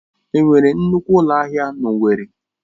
Enwere nnukwu ụlọ ahịa na owerri?